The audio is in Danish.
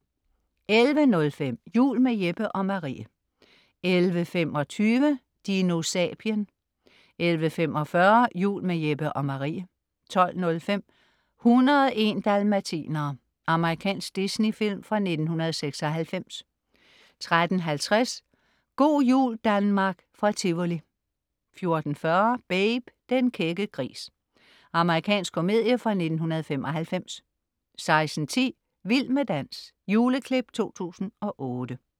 11.05 Jul med Jeppe og Marie 11.25 DinoSapien 11.45 Jul med Jeppe og Marie 12.05 101 dalmatinere. Amerikansk Disney-film fra 1996 13.50 Go' jul Danmark fra Tivoli 14.40 Babe. Den kække gris. Amerikansk komedie fra 1995 16.10 Vild med dans. Juleklip 2008